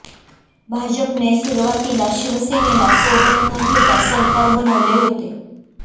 भाजपने सुरुवातीला शिवसेनेला सोबत न घेता सरकार बनवले होते